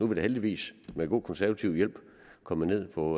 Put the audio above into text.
vi da heldigvis med god konservativ hjælp kommet ned på